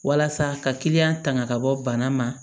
Walasa ka kiliyan tanga ka bɔ bana ma